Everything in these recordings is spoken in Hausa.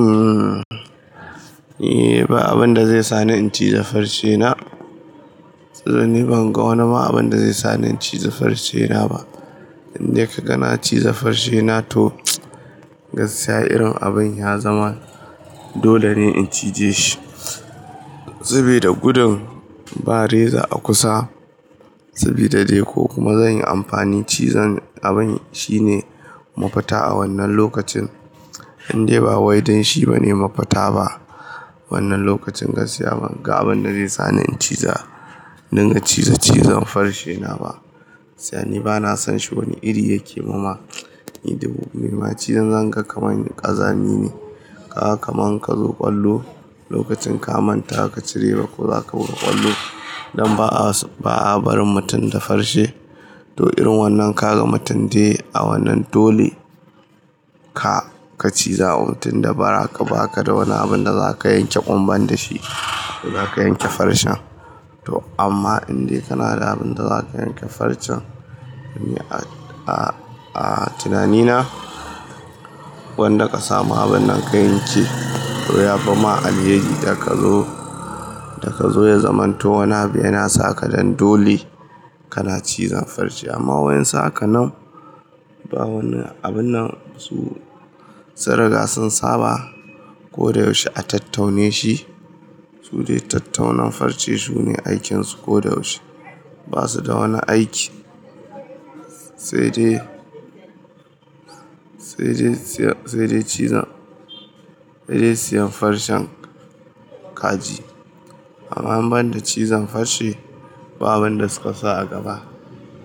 Umm, e ba abun da zai sa ni in ciza farcena. To ni ban ga wani ma abun da zai sa ni in ciza farcena ba. Inde ka ga na ciza farcena to, gaskiya irin abin ya zama dole ne in cije shi. Saboda gudun ba reza a kusa, sabida dai ko kuma zan yi amfani cizon abin shine mafita a wannan lokacin. Indai ba wai don shi bane mafita ba. Wannan lokacin gaskiya ban ga abin da zai sa ni in ciza, dinga ciza cizon farcena ba. Sai ni bana san shi wani iri yake mama. Ni da dubu. Mai cizon zan ga kamar ni ƙazami ne. Ka kama ka zo ƙwallo lokacin ka manta ka cireba ko zaka buga ƙwallo. Dan ba'a, ba'a barin mutum da farce. To irin wannan ka ga mutum dai a wannan dole ka, ka ciza. Mutum da ba ka, ba ka da wani abin da zaka yanke ƙumban da shi, da zaka yanke farcen. To amma indai kana da abun da za ka yanke farcen, a, a tunanina, wanda ka samu abun nan ka yanke. To ya fima alheri da ka zo, da ka zo ya zamanto wani abu yana saka dan dole kana cizon farce. Amma wayen suhaka nan, ba wani abun nan su, sun riga sun saba. Ko da yaushe a tattaune shi. Su dai tattaunan farce sune aikin su ko da yaushe. Ba su da wani aiki, sai dai, sai dai cizon, sai dai siyan farcen kaji. Amma ban da cizon farce, ba abin da suka sa a gaba.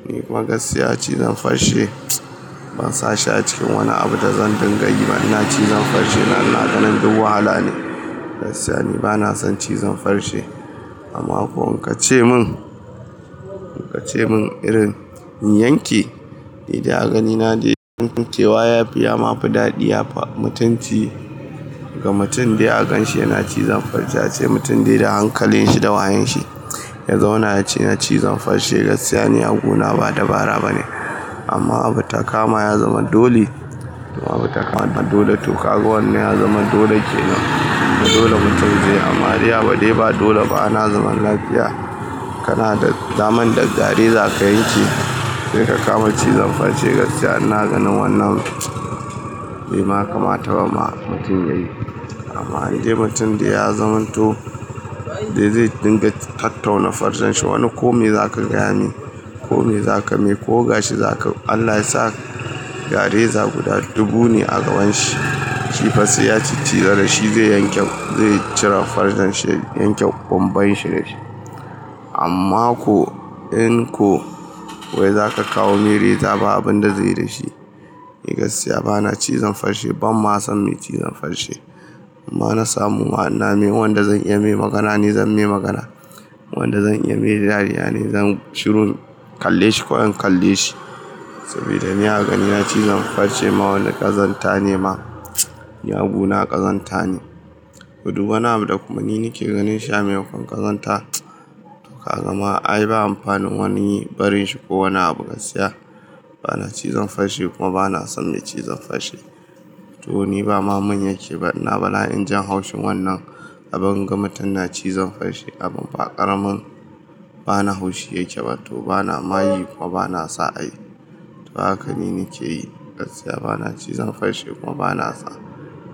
Ni kuma gaskiya cizon farce ban sa shi a cikin wani abu da zan dinga yi ba. Ina cizon farce na, ina ganin duk wahala ne. Gaskiya ni bana son cizon farce, amma ko in ka ce mun, ka ce mun irin in yanke, ni dai a ganina dai yanke wa ya fi ya ma fi daɗi. Yafi mutunci ga mutum dai a kan shi yana cizon farce yace mutum dai da hankalin shi da wayan shi. Yaza una ce na cizon farce gaskiya ne, ya guna ba dabara ba ne. Amma abu ta kama ya zama dole. Abu ta kama dole. To ka ga wannan ya zama dole kenan. Dole mutum zai. Amma dai ba dole ba, ana zaune lafiya. Kana da daman da gare za ka yanke. Sai ka kama cizon farce gaskiya ina ganin wannan bai makamata ba ma mutum yayi. Amma indai mutum dai ya zamanto dai zai dinga tattauna farcen shi. Wani kome za ka gane, kome za ka mai, ko ga shi za ka. Allah ya sa ga reza guda dubu ne a gaban shi. Ki fasai ya ci cizon da shi zai yanke, zai cire farcen shi, yanke ƙumban shi da shi. Amma ko in ko wai za ka kawo mai reza ba abun da zai yi da shi. Ni gaskiya bana cizon farce, ban ma son mai cizon farce. Amma na samu wa'ina me, wanda zan iya mai magana ni zan mai magana. Wanda zan iya mai dariya ne, zan shiru in kalle shi ko in kalle shi. Saboda ni a ganina cizon farce ma wani ƙazanta ne ma. Ya guna ƙazanta ne. Todu wani abu da kuma ni nake ganin shi a maimakon ƙazanta. To ka ga ma ai ba amfanin wani barin shi ko wani abu. Gaskiya bana cizon farce kuma bana son mai cizon farce. To ni ba ma mun yake ba, ina bala in jin haushin wannan abun gama mutum na cizon farce abun ba ƙaramin. Ba ni haushi yake ba. To bana ma yi kuma bana sa ai. To haka ni nake yi. Gaskiya bana cizon farce kuma bana sa,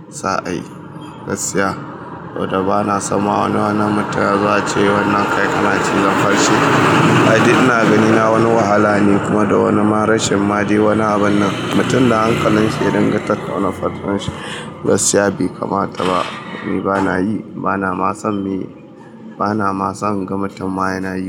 sa ai. Gaskiya to da bana sama wannan wani mutum ya zo a ce wannan kai kana cizon farce. Ai duk ina ganina wani wahala ne kuma da wani marashin ma dai wani abun nan. Mutum da hankalin shi ya dinga tattauna farcen shi. Gaskiya bai kamata ba. Ni bana yi, bana ma son me yi, bana ma son inga mutum ma yana yi.